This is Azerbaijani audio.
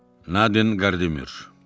Nadin Qardemir.